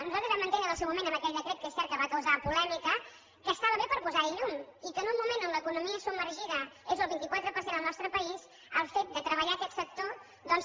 nosaltres vam entendre en el seu moment amb aquell decret que és cert que va causar polèmica que estava bé per posar hi llum i que en un moment on l’economia submergida és el vint quatre per cent al nostre país el fet de treballar aquest sector doncs